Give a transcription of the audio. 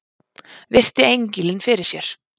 Virti engilinn fyrir sér.